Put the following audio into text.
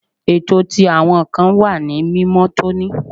Eto ti awọn nkan wa ni mimotoni